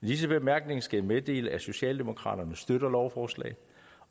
disse bemærkninger skal jeg meddele at socialdemokraterne støtter lovforslaget